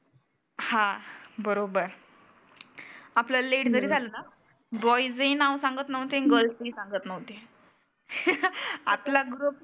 हा बरोबर आपल्याला लेट जरी झालं ना बॉयझ ही नाव सांगत नव्हते आन गर्ल्स ही सांगत नव्हते. आपला ग्रुप